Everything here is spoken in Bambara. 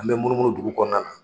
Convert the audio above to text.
An bɛ munu munu dugu kɔnɔna na.